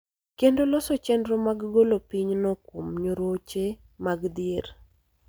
kendo loso chenro mag golo pinyno kuom nyoroche mag dhier.